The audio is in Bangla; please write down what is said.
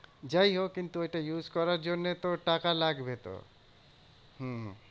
যাই হোক কিন্তু ওটা use করার জন্যে তো টাকা লাগবে তো। হম